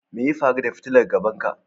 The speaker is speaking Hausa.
Me ya faru da fitilar gaban ka?